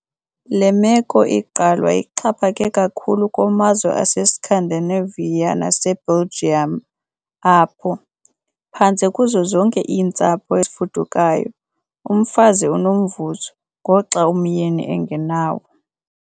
Le meko igqalwa ixhaphake kakhulu kumazwe aseScandinavia naseBelgium apho, phantse kuzo zonke iintsapho ezifudukayo, umfazi unomvuzo, ngoxa umyeni engenawo .